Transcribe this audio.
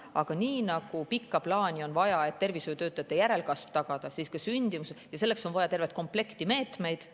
Aga nii nagu pikas plaanis on vaja tervishoiutöötajate järelkasv tagada, on ka sündimuse tagamiseks vaja tervet komplekti meetmeid.